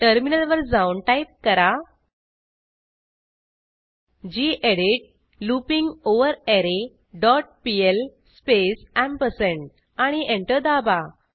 टर्मिनलवर जाऊन टाईप करा गेडीत लूपिंगवररे डॉट पीएल स्पेस एम्परसँड आणि एंटर दाबा